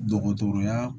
Dɔgɔtɔrɔya